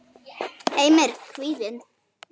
Heimir: Kvíðinn?